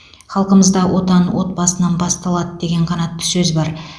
халқымызда отан отбасынан басталады деген қанатты сөз бар